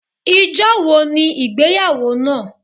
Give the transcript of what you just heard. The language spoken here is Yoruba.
Ijọ́ wo ni ìgbéyàwó náà?